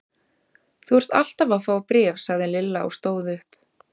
Þú ert alltaf að fá bréf sagði Lilla og stóð upp.